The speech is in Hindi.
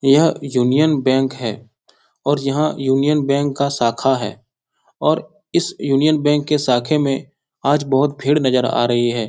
यह यूनियन बैंक है और यहाँ यूनियन बैंक का शाखा है और इस यूनियन बैंक के शाखे मे आज बहुत भीड़ नजर आ रही है।